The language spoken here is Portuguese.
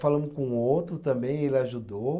Falamos com outro também, ele ajudou.